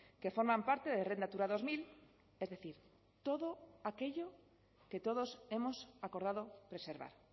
que forman parte de red natura dos mil es decir todo aquello que todos hemos acordado preservar